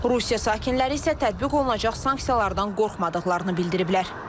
Rusiya sakinləri isə tətbiq olunacaq sanksiyalardan qorxmadıqlarını bildiriblər.